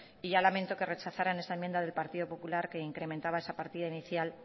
y ya lamento que rechazaran esa enmienda del partido popular que incrementaba esa partida inicial